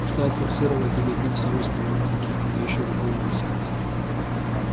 стал форсировать и добился роста воронки да ещё какого роста